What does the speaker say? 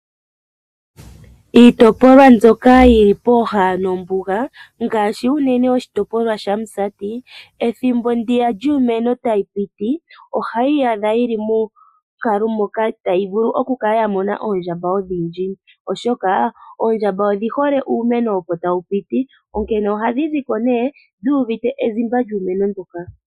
Iitopolwa mbyoka yili pooha nombuga ngaashi unene oshitopolwa shaMusati ethimbo ndiya lyiimeno tayi piti ohayi iyadha yili monkalo moka tayi vulu oku kala yamona oondjamba odhindji oshoka oondjamba odhi hole uumeno opo tawu piti onkene ohadhi zi ko ne dhu uvite ezimba lyuumeno mboka.